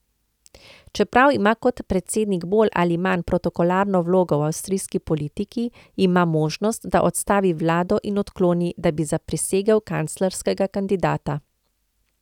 Čeprav ima kot predsednik bolj ali manj protokolarno vlogo v avstrijski politiki, ima možnost, da odstavi vlado in odkloni, da bi zaprisegel kanclerskega kandidata.